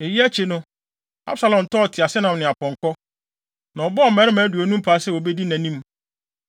Eyi akyi no, Absalom tɔɔ teaseɛnam ne apɔnkɔ, na ɔbɔɔ mmarima aduonum paa sɛ wobedi nʼanim.